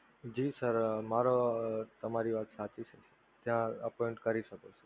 જી sir મારા તમારી વાત સાચી છે ત્યાં appoint કરી શકો છો.